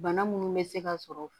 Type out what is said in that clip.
Bana munnu bɛ se ka sɔrɔ